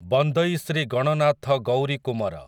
ବନ୍ଦଇ Shri Gananath Gourikumar